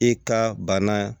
I ka bana